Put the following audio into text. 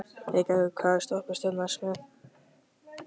Eygerður, hvaða stoppistöð er næst mér?